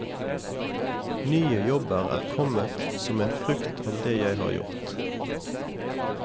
Nye jobber er kommet som en frukt av det jeg har gjort.